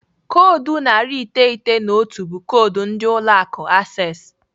Koodu narị iteghete na otu be koodu ndị ụlọ akụ Access.